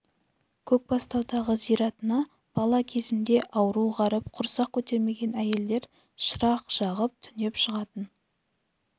көкбастаудағы зиратына бала кезімде ауру-ғаріп құрсақ көтермеген әйелдер шырақ жағып түнеп жататын